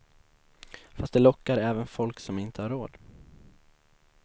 Fast de lockar även folk som inte har råd.